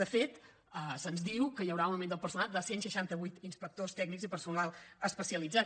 de fet se’ns diu que hi haurà un augment del personal de cent seixanta vuit inspectors tècnics i personal especialitzat